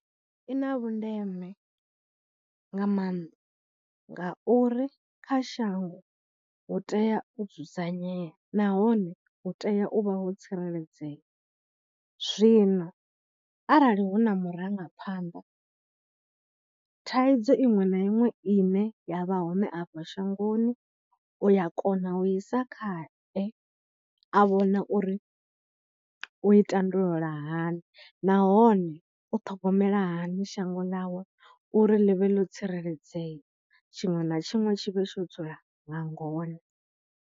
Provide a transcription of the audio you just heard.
I na vhundeme nga maanḓa ngauri kha shango hu tea u dzudzanyea nahone hu tea u vha ho tsireledzea, zwino arali hu na murangaphanḓa thaidzo iṅwe na iṅwe ine ya vha hone a fha shangoni u ya kona u i sa khae a vhona uri u i tandulula hani nahone u ṱhogomela hani shango ḽawe uri ḽi vhe ḽo tsireledzea, tshiṅwe na tshiṅwe tshi vhe tsho dzula nga ngona.